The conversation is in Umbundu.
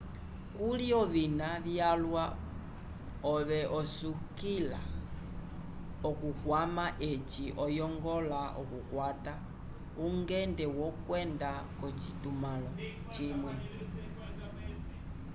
kuli ovina vyalwa ove osukila okukwama eci oyongola okukwata ungende wokwenda k'ocitumãlo cimwe